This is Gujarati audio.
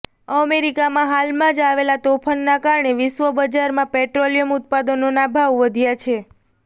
અમેરિકામાં હાલમાં જ આવેલા તોફાનના કારણે વિશ્વ બજારમાં પેટ્રોલિયમ ઉત્પાદનોના ભાવ વધ્યા છે